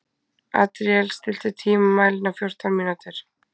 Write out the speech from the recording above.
Adríel, stilltu tímamælinn á fjórtán mínútur.